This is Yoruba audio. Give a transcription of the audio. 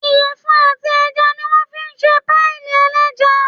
Ìyẹ̀fun àti ẹja ní wọ́n fí n ṣe páìì ẹlẹ́ja